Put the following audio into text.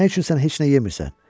Nə üçün sən heç nə yemirsən?